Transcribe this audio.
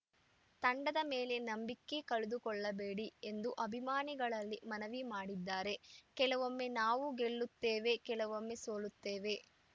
ತಂಡದ ಮೇಲೆ ನಂಬಿಕೆ ಕಳೆದುಕೊಳ್ಳಬೇಡಿ ಎಂದು ಅಭಿಮಾನಿಗಳಲ್ಲಿ ಮನವಿ ಮಾಡಿದ್ದಾರೆ ಕೆಲವೊಮ್ಮೆ ನಾವು ಗೆಲ್ಲುತ್ತೇವೆ ಕೆಲವೊಮ್ಮೆ ಸೋಲುತ್ತೇವೆ